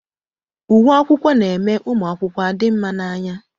Uwe akwụkwọ na-eme ụmụ akwụkwọ adị mma n'anya.